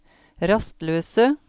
rastløse